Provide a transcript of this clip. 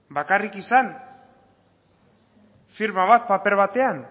bakarrik izan firma bat paper batean